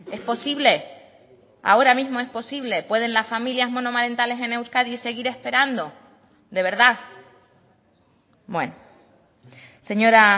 es posible ahora mismo es posible pueden las familias monomarentales en euskadi seguir esperando de verdad bueno señora